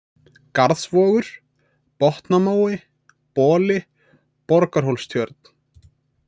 Garðsvogur, Botnamói, Boli, Borgarhólstjörn